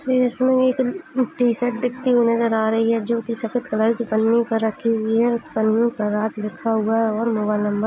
इसमें एक टी-शर्ट दिखती हुई नजर आ रही है जो कि सफेद कलर की पन्नी पर रखी हुई है। उस पन्नी पर राज लिखा हुआ है और मोबाईल नंबर --